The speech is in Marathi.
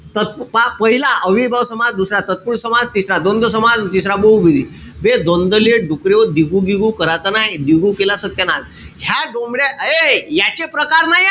त पहा पहिला अव्ययीभाव समास, दुसरा तत्पुरुषी समास, तिसरा द्वंद्व समास, आणि चौथा बहूव्रीही. बे द्वंद्व ले डुकऱ्याहो दिगू-दिगू कराच नाई. दिगू केला सत्यानाश. ह्या डोमड्या हाय्ये. याचे प्रकार नाईए.